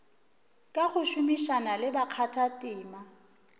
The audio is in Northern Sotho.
ka go šomišana le bakgathatema